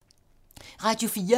Radio 4